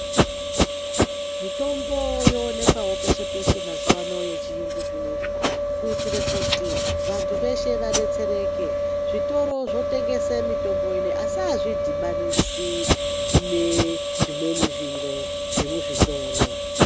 Mitombo yoonekwawo peshe peshe mazuva ano ye chiyungu zvinezvi kuitire kuti vantu veshe vadetsereke zvitoro zvotengese mitombo ineyi asi azvi dhibanisi ne zvimweni zviro zve muzvitoro.